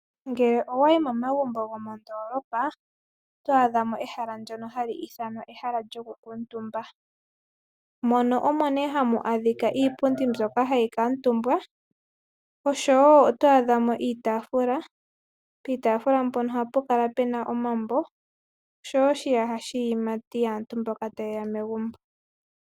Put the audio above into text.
Ngele owa yi momagumbo gomondoolopa oto adhamo ehala ndyono hali ithanwa ehala lyokukuutumba. Mono omo nee hamu adhika iipundi mbyoka hayi kuutumbwa oshowo oto adhamo iitaafula. Piitaafula mpono ohapu kala pena omambo oshowo oshiyaha shiiyimati yaantu mboka ta yeya megumbo.